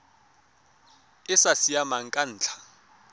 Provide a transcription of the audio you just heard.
e sa siamang ka ntlha